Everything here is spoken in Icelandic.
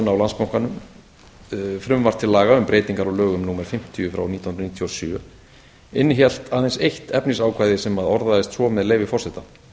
á landsbankanum frumvarp til laga um breytingar á lögum númer fimmtíu nítján hundruð níutíu og sjö innihélt aðeins eitt efnisákvæði sem orðaðist svo með leyfi forseta